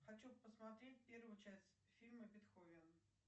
хочу посмотреть первую часть фильма бетховен